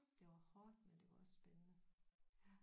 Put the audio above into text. Det var hårdt men det var også spændende ja